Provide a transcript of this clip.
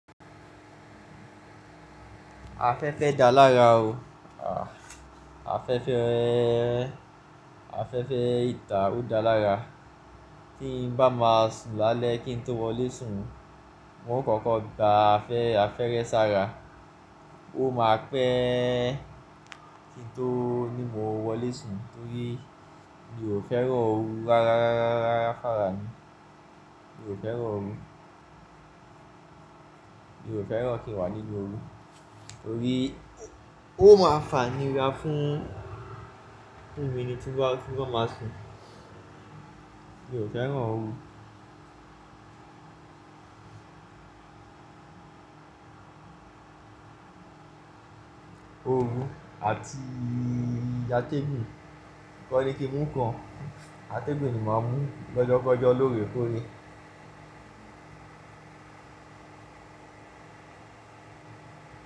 Afẹ́fẹ́ da lára o. À, afẹ́fẹ́, afẹ́fẹ́ ìta ò da lára. Kí ń bá máa sùn lálẹ́ kí ń tó wọlé sùn, mo kọ́kọ́ gba afẹ́erẹ́ sára. Ó máa pẹ́ kí ń tó ní mo wọlé sùn torí mi ò fẹ́ràn òru rárá, rárá, rárá, rárá, f'ára mi. Mi ò fẹ́ràn òru. Mi ò fẹ́ràn kí wá nínu òru torí ó máa fa'níra fún, fún mi ni tí bá, tí bá máa sùn. Mi ò fẹ́ràn òru. Òru àti atẹ́gùn. Kọ́ ni kí n mú kan. Atẹ́gùn ni màá mú lọ́jọ́ kọjọ́ lóorẹ́ kóorè.